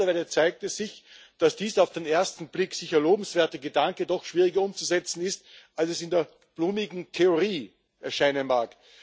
Mittlerweile zeigt es sich, dass dieser auf den ersten Blick sicher lobenswerte Gedanke doch schwieriger umzusetzen ist, als es in der blumigen Theorie erscheinen mag.